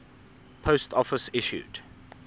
post office issued